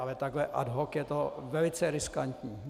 Ale takhle ad hoc je to velice riskantní.